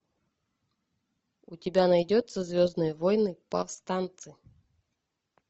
у тебя найдется звездные войны повстанцы